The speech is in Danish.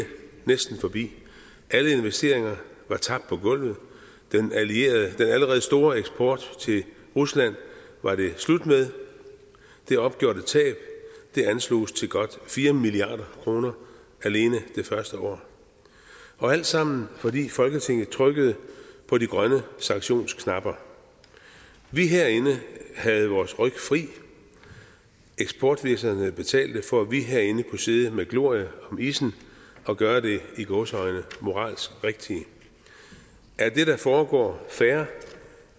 næsten forbi alle investeringer var tabt på gulvet den allerede store eksport til rusland var det slut med det opgjorte tab ansloges til godt fire milliard kroner alene det første år alt sammen fordi folketinget trykkede på de grønne sanktionsknapper vi herinde havde vores ryg fri eksportvirksomhederne betalte for at vi herinde kunne sidde med glorie om issen og gøre det i gåseøjne moralsk rigtige er det der foregår fair